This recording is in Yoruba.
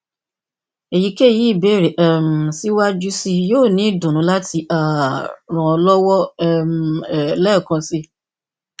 eyikeyi ibeere um siwaju sii yoo ni idunnu lati um ran ọ lọwọ um lẹẹkan si